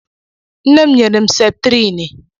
Nne m nyere m septrini